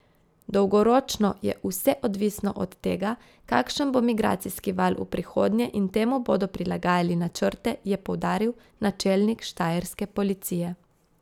Dolgoročno je vse odvisno od tega, kakšen bo migracijski val v prihodnje in temu bodo prilagajali načrte, je poudaril načelnik štajerske policije.